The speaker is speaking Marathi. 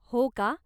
हो का?